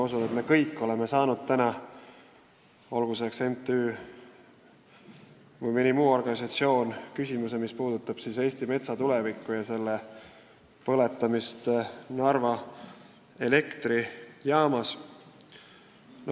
Ma usun, et me kõik oleme saanud mõnelt MTÜ-lt või muult organisatsioonilt küsimusi, mis puudutavad Eesti metsa tulevikku, sh selle põletamist Narva elektrijaamades.